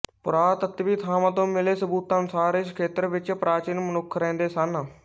ਪੁਰਾਤੱਤਵੀ ਥਾਵਾਂ ਤੋਂ ਮਿਲੇ ਸਬੂਤਾਂ ਅਨੁਸਾਰ ਇਸ ਖੇਤਰ ਵਿੱਚ ਪ੍ਰਾਚੀਨ ਮਨੁੱਖ ਰਹਿੰਦੇ ਸਨ